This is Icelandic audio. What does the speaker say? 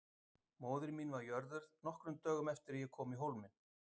Móðir mín var jörðuð nokkrum dögum eftir að ég kom í Hólminn.